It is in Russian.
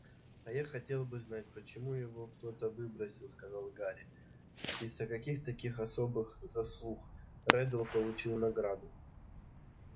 а я хотел бы знать почему его кто-то выбросил сказал гарри и за каких таких особых заслуг реддл получил награду